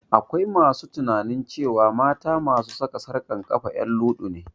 Akwai masu tunanin cewa mata masu saka tsarkan kafa en luɗu ne